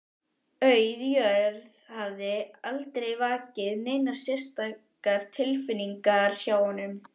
Auð jörð hafði aldrei vakið neinar sérstakar tilfinningar hjá honum.